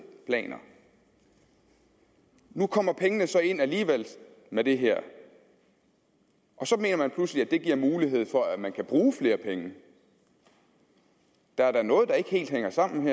planer nu kommer pengene så ind alligevel med det her og så mener man pludselig at det giver mulighed for at man kan bruge flere penge der er da noget der ikke helt hænger sammen